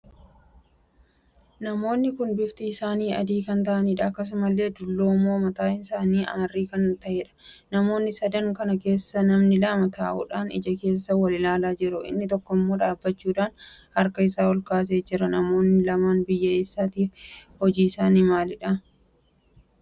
Namoonni kun bifti isaanii adii kan taahiidha. akkasumallee dulloomoo mataa isaanii arrii kan taheedha. namoota sadan kana keessaa namni lama taa'uudhaan ija keessa wal ilaalaa jiru. inni tokkommoo dhaabbachuudhaan harkaa isaa olkaasee jira. namoonni lammii biyyaa eessaati? Hojii isaanii maalidha?